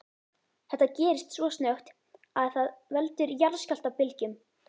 Þetta gerist svo snöggt að það veldur jarðskjálftabylgjum.